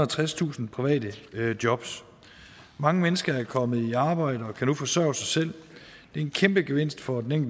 og tredstusind private jobs mange mennesker er kommet i arbejde og kan nu forsørge sig selv det er en kæmpe gevinst for den